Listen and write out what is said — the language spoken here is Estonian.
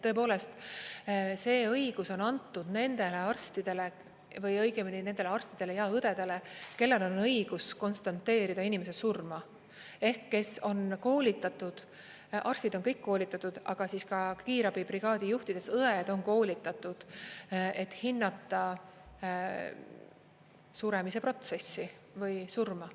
Tõepoolest, see õigus on antud nendele arstidele või õigemini nendele arstidele ja õdedele, kellel on õigus konstateerida inimese surma ehk kes on koolitatud, arstid on kõik koolitatud, aga ka kiirabibrigaadi juhtidest õed on koolitatud, et hinnata suremise protsessi või surma.